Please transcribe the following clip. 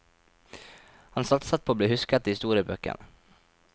Han satset på å bli husket i historiebøkene.